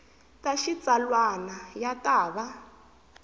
ta xitsalwana ya ta va